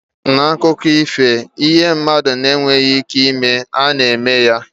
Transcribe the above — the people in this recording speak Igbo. N'akụkọ ifo, ihe mmadụ na-enweghị ike ịnwe, a na-eme ya.